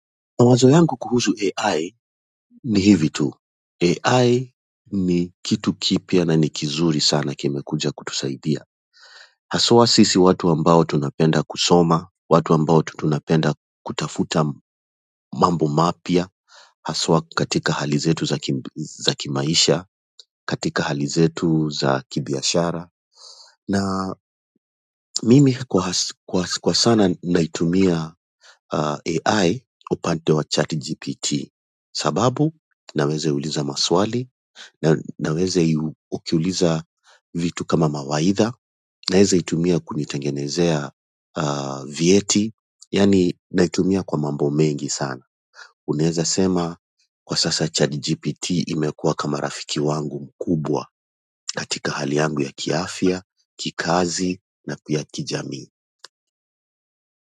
Mawazo yangu kuhuzu AI ni hivi tu. AI ni kitu kipya na ni kizuri sana, kimekuja kutusaidia hasa sisi watu ambao tunapenda kusoma, watu ambao tunapenda kutafuta mambo mapya, hasa katika hali zetu za kimaisha, katika hali zetu za kibiashara. Na mimi kwa sana naitumia AI upande wa chatgpt sababu, naweza kuuliza maswali, naweza kukuuliza vitu kama mawaidha. Naweza kuitumia kunitengenezea vyeti, yaani naitumia kwa mambo mengi sana. Unaweza sema kwa sasa ChatGPT imekuwa kama rafiki yangu mkubwa katika hali yangu ya kiafya, kikazi na pia kijamii.